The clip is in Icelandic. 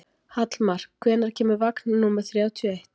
Hallmar, hvenær kemur vagn númer þrjátíu og eitt?